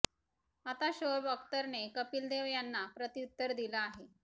आता शोएब अख्तरने कपिल देव यांना प्रत्युत्तर दिलं आहे